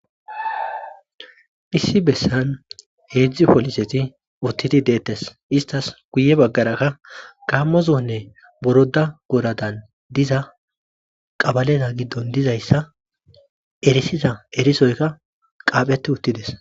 Issi bessan heedzdzi poliseti uttidi deettes istas guye baggaraka gaammozonne boroda goradan diza qabaleta giddon dizayssa erisiza erisoyka qaapheti uttides.